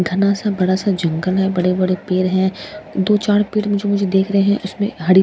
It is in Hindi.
घना सा बड़ा सा जंगल है बड़े बड़े पेड़ है। दो चार पेड़ मुझे देख रहे हैं उसमें झाड़ी--